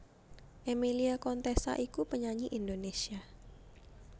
Emilia Contessa iku penyanyi Indonesia